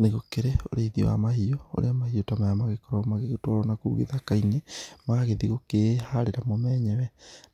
Nĩgũkĩrĩ ũrĩithia wa mahiũ kũrĩa mahiũ ta maya magĩkoragwo magĩgĩtwarwo na kũu gĩthaka-inĩ, magagĩthiĩ gukĩĩharĩra mo menyewe,